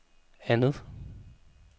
andet